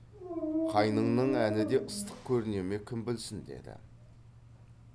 қайныңның әні де ыстық көріне ме кім білсін деді